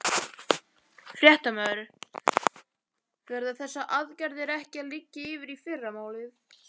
Fréttamaður: Verða þessar aðgerðir ekki að liggja fyrir í fyrramálið?